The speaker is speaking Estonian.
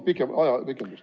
Palun ajapikendust!